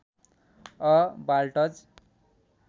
a waltz